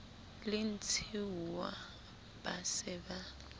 le ntshiuwa ba se ba